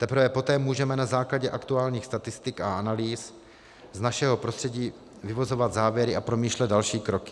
Teprve poté můžeme na základě aktuálních statistik a analýz z našeho prostředí vyvozovat závěry a promýšlet další kroky.